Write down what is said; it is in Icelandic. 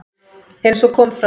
Eins og kom fram